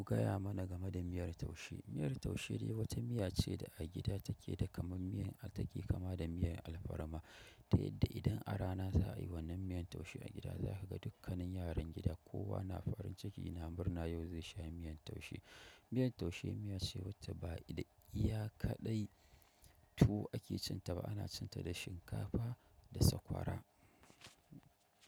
Ku gaya mana game da miyar taushe. Miyar taushe dai wata miya ce da a gida take da kaman miyan, ta ke kama da miyan alfarma ta yadda idan a rana za a yi wannan miyan taushe a gida, za ka ga dukkanin yaran gida kowa na farin ciki, yana murna yau zai sha miyan taushe. Miyan taushe miya ce wacce ba iya kaɗai tuwo ake cin ta ba, ana cin ta da shinkafa da sakwara.